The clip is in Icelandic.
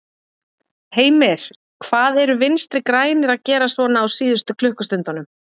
Heimir: Hvað eru Vinstri-grænir að gera svona á síðust klukkustundunum?